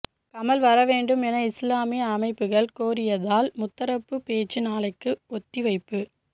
கமல் வர வேண்டும் என இஸ்லாமிய அமைப்புகள் கோரியதால் முத்தரப்பு பேச்சு நாளைக்கு ஒத்திவைப்பு